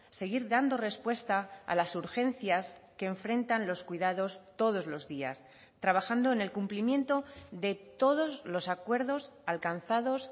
seguir dando respuesta a las urgencias que enfrentan los cuidados todos los días trabajando en el cumplimiento de todos los acuerdos alcanzados